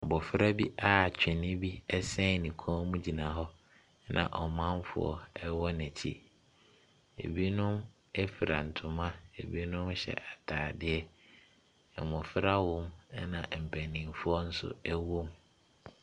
Abɔfra bi a twene bi ɛsen ne kon mu egyina hɔ na ɔmanfoɔ ɛwɔ nɛ kyi. ebinom efura ntoma ebinom hyɛ ataadeɛ. Mmɔfra wɔ mu na mpanyinfoɔ nso ɛwɔ mu.